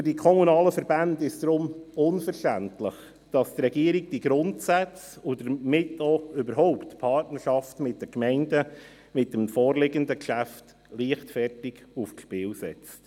Für die kommunalen Verbände ist es deshalb unverständlich, dass die Regierung mit dem vorliegenden Geschäft diese Grundsätze und damit auch die Partnerschaft mit den Gemeinden überhaupt leichtfertig aufs Spiel setzt.